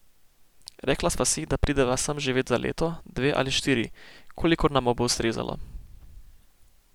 Rekla sva si, da prideva sem živet za leto, dve ali štiri, kolikor nama bo ustrezalo.